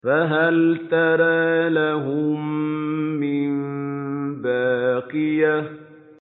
فَهَلْ تَرَىٰ لَهُم مِّن بَاقِيَةٍ